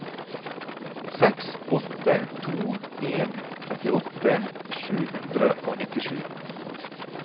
seks åtte to en trettiåtte sju hundre og nittisju